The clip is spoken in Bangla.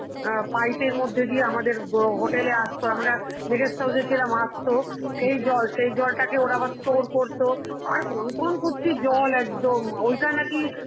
অ্যাঁ pipe এর মধ্য দিয়ে আমাদের হ~ hotel এ আসতো, আমরা যে guest house এ ছিলাম আসতো সেই জল, সেই জলটাকে ওরা আবার store করতো, আর কনকন করছে জল একদম, ওইটা নাকি